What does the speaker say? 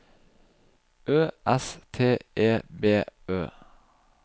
Ø S T E B Ø